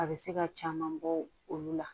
A bɛ se ka caman bɔ olu la